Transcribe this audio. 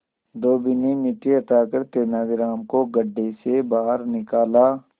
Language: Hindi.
धोबी ने मिट्टी हटाकर तेनालीराम को गड्ढे से बाहर निकाला